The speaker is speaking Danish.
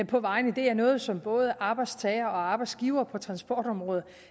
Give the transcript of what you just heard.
på vejene det er noget som både arbejdstagere og arbejdsgivere på transportområdet